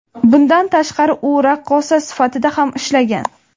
Bundan tashqari, u raqqosa sifatida ham ishlagan.